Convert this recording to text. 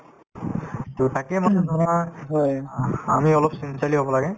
to তাকেই মানে ধৰা আমি অলপ sincerely হব লাগে